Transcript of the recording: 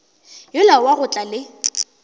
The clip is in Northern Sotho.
yola wa go tla le